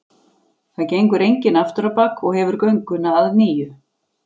Það gengur enginn aftur á bak og hefur gönguna að nýju.